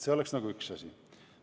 See on üks asi.